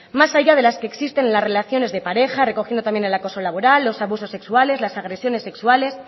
más allá de las que existen en las relaciones de pareja recogiendo también el acoso laboral los abusos sexuales las agresiones sexuales